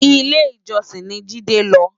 Ilé Ijòsin ni Jide nlò